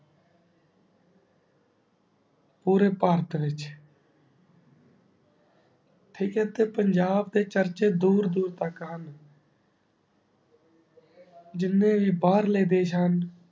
ਪੋਰੀ ਪਟਰੀ ਚ ਟਾਕ ਆਯ ਤੇ ਪੰਜਾਬ ਦੇ ਚਰਚੇ ਦੂਰ ਦੂਰ ਤਕ ਹੁਣ ਜਿੰਨੀ ਬਾਰ ਲੇ ਦਯ੍ਸ਼ਾ ਹੁਣ